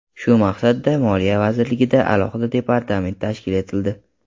Shu maqsadda Moliya vazirligida alohida departament tashkil etildi.